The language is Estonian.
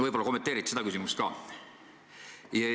Võib-olla kommenteerite seda küsimust ka.